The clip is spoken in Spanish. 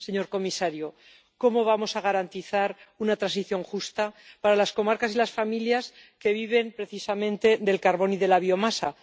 Señor comisario, ¿cómo vamos a garantizar una transición justa para las comarcas y las familias que viven precisamente del carbón y de la biomasa?